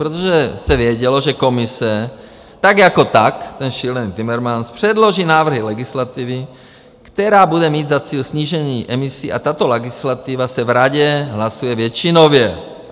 Protože se vědělo, že Komise tak jako tak, ten šílený Timmermans, předloží návrhy legislativy, která bude mít za cíl snížení emisí, a tato legislativa se v Radě hlasuje většinově.